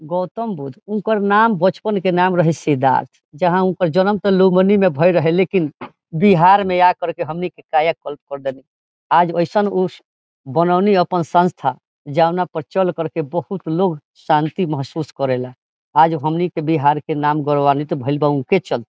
गौतम बुद्ध हुनकर नाम बचपन के नाम रहे सिद्धार्थ यहां उनकर जन्म ते लुधबनी में भेए रहे लेकिन बिहार में आकर के हमनी के काया पलट कर देनी आज ओसन उस बनोनी अपन संस्था जोना पर चल करके बहुत लोग शांति महसूस करेला आज हमनी के बिहार के नाम गर्वनित भेल बा उ के चलते।